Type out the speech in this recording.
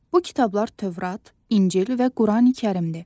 Bu kitablar Tövrat, İncil və Qurani-Kərimdir.